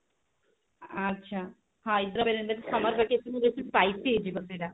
ଆଚ୍ଛା ହାଇଦ୍ରାବାଦ summer ବକ୍କତୀୟନ ରେ ବସି spice dish ବତେଇଲା